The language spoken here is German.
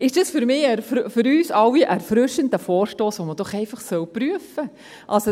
Das ist doch für uns alle ein erfrischender Vorstoss, den man doch einfach prüfen soll.